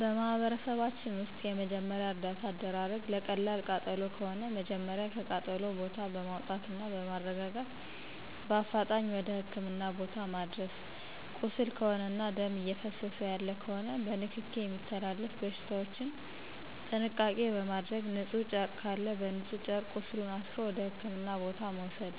በማህበረሰባችን ውስጥ የመጀመሪያ እርዳታ አደራረግ ለቀላል ቃጠሎ ከሆነ መጀመሪያ ከቃጠሎ ቦታው በማውጣትና በማረጋጋት በአፋጣኝ ወደ ህክምና ቦታ ማድረስ ቁስል ከሆነና ደም እየፈሰሰው ያለ ከሆነ በንክኪ የሚተላለፉ በሽታዎችን ጥንቃቄ በማድረግ ንጹህ ጨርቅ ካለ በንጹህ ጨርቅ ቁስሉን አስሮ ወደ ህክምና ቦታ መውሰድ